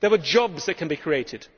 There are jobs that can be created.